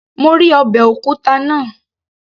Mo rí ọbẹ̀ òkúta náà